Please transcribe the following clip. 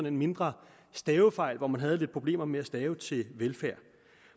en mindre stavefejl hvor man havde lidt problemer med at stave til velfærd